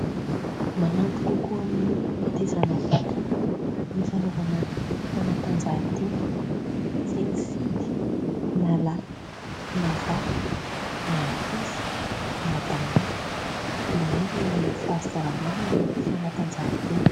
Manampy kokoa amin'ny fitaizana vatana ny fanaovana fanatanjahantena. Tsy mifidy na lahy na vavy na ankizy na tanora. Ilaina amin'ny fahasalamana ny fanatanjahantena.